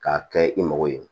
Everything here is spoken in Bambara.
K'a kɛ i mago ye